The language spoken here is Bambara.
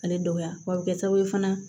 Ale dɔgɔya wa bɛ kɛ sababu ye fana